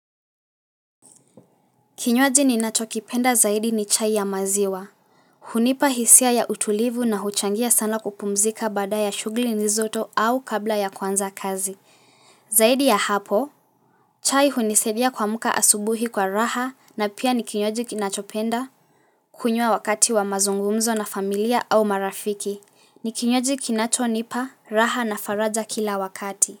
Kinywaji ninacho kipenda zaidi ni chai ya maziwa. Hunipa hisia ya utulivu na huchangia sana kupumzika baada ya shughuli nizoto au kabla ya kuanza kazi. Zaidi ya hapo, chai hunisaidia kuamka asubuhi kwa raha na pia ni kinywaji kinachopenda, kunywa wakati wa mazungumzo na familia au marafiki. Ni kinywaji kinachonipa raha na faraja kila wakati.